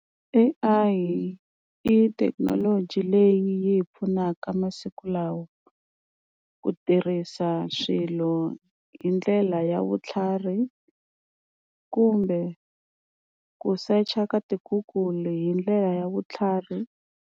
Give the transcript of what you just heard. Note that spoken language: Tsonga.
A_I i thekinoloji leyi hi pfunaka masiku lawa ku tirhisa swilo hi ndlela ya vutlhari kumbe ku secha ka ti-google hi ndlela ya vutlhari.